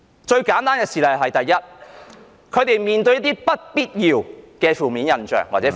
最簡單的事例是，第一，他們會面對一些不必要的負面印象或標籤......